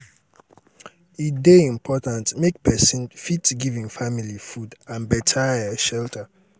e dey important make um pesin um fit give im family food and beta um shelter.